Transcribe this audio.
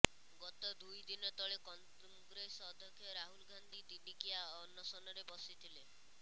ଗତ ଦୁଇ ଦିନ ତଳେ କଂଗ୍ରେସ ଅଧ୍ୟକ୍ଷ ରାହୁଲ ଗାନ୍ଧୀ ଦିନିକିଆ ଅନଶନରେ ବସିଥିଲେ